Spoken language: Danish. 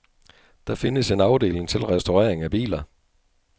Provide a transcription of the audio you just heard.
Der findes en afdeling til restaurering af biler.